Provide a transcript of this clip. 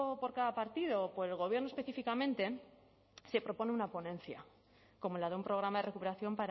por cada partido o por el gobierno específicamente se propone una ponencia como la de un programa de recuperación